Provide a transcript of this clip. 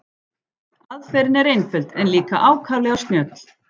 Aðferðin er einföld en líka ákaflega snjöll.